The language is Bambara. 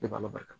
De b'a barika